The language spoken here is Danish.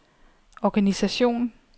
organisation